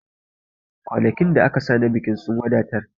Kwanakin da aka sa na bikin sun wadatar